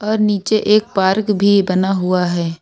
और नीचे एक पार्क भी बना हुआ है।